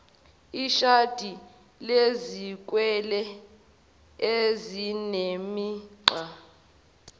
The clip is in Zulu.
ishadi lezikwele ezinemigqa